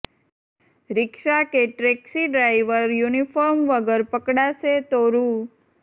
રિક્ષા કે taxi driver uniform વગર પકડાશે તો રૂ